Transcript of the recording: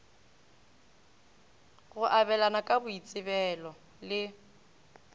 go abelana ka boitsebelo le